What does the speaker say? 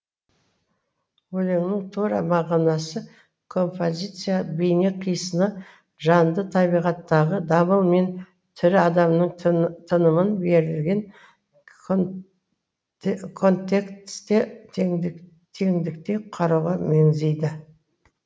өлеңнің тура мағынасы композиция бейне қисыны жанды табиғаттағы дамыл мен тірі адамның тынымын берілген контексте теңдікте қарауға меңзейді